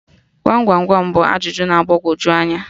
Gwam gwam gwam bụ ajụjụ na-agbagoju anya